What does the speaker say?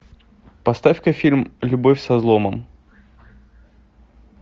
поставь ка фильм любовь со взломом